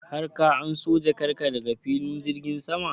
har ka anso jakan ka daga filin jirgin sama?